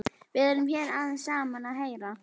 Við erum hér aðeins saman að heyra.